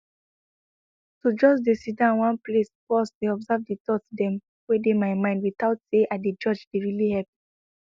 to just dey sidon one place pause dey observe the thoughts dem wey dey my mind without say i dey judge dey really help